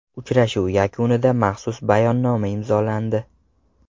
Uchrashuv yakunida maxsus bayonnoma imzolandi.